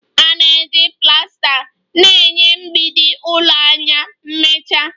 A na-eji plasta na-enye mgbidi ụlọ anya mmecha